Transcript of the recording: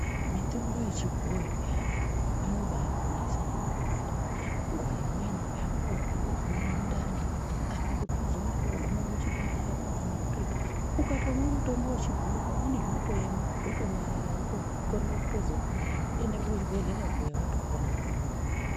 Mitombo yechibhoyi inobaaponesa zvakawanda. Nguwa imweni uri kutozwa mundani, apa kuti uzoona kooguma kuchibhedhlera kwakhona kuretu. Ukatomwa mutombo wechibhoyi zvinoema zvotonyarara wotokorera kutozoenda kuchibhedhlera kuya watoona hako.